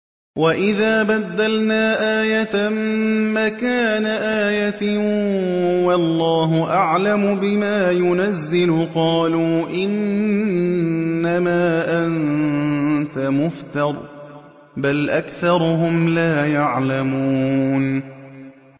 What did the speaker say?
وَإِذَا بَدَّلْنَا آيَةً مَّكَانَ آيَةٍ ۙ وَاللَّهُ أَعْلَمُ بِمَا يُنَزِّلُ قَالُوا إِنَّمَا أَنتَ مُفْتَرٍ ۚ بَلْ أَكْثَرُهُمْ لَا يَعْلَمُونَ